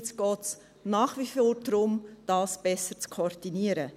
Jetzt geht es nach wie vor darum, das besser zu koordinieren.